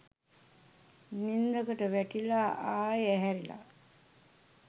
නින්දකට වැටිලා ආයෙ ඇහැරිලා